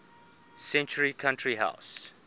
century country house